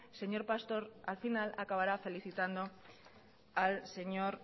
señor pastor al final acabará felicitando al señor